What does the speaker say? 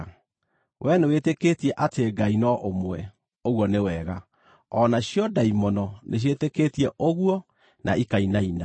Wee nĩwĩtĩkĩtie atĩ Ngai no ũmwe. Ũguo nĩ wega! O nacio ndaimono nĩciĩtĩkĩtie ũguo, na ikainaina.